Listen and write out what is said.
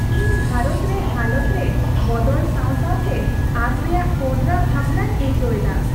ᱤᱧ ᱵᱷᱟᱨᱚᱛ ᱨᱮ ᱦᱟᱞᱚᱛ ᱨᱮ ᱵᱚᱫᱚᱞ ᱥᱟᱶ ᱥᱟᱶᱛᱮ ᱟᱸᱥ ᱨᱮᱭᱟᱜ ᱠᱚᱰᱨᱟ ᱵᱷᱟᱵᱽᱱᱟᱧ ᱟᱹᱭᱠᱟᱹᱣ ᱮᱫᱟ ᱾